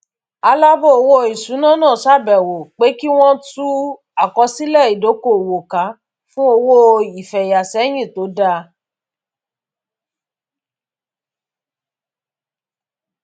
alábọọwọ iṣuna náà ṣàbẹwò pé kí wọn tú àkósílẹ ìdokoowó ká fún owó ìfeyà sẹyìn tó dáa